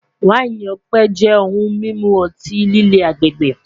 Waini ọpẹ jẹ ohun mimu ọti-lile agbegbe